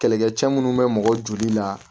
Kɛlɛkɛcɛ minnu be mɔgɔ joli la